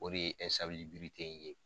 O de ye ye.